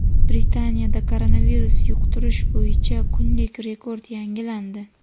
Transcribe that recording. Britaniyada koronavirus yuqtirish bo‘yicha kunlik rekord yangilandi.